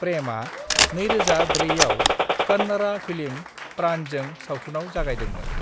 प्रेमआ 2004 आव कन्नड़ा फिल्म प्राणजों सावथुनाव जागायदोंमोन।